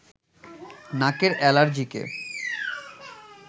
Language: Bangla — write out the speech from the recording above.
নাকের এলার্জিকে